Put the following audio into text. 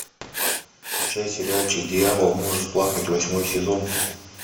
включай сериальчик дьявол может плакать восьмой сезон